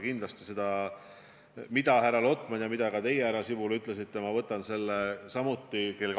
Kindlasti võtan ma selle, mida härra Lotman ütles ja mida ka teie, härra Sibul, ütlesite, kell 14 lauale.